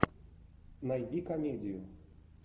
найди комедию